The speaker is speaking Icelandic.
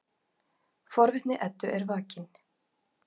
Forvitni Eddu er vakin.